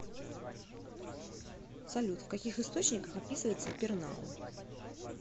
салют в каких источниках описывается пернау